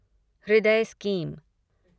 हृदय स्कीम